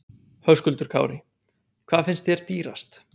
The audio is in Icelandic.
Höskuldur Kári: Hvað finnst þér dýrast?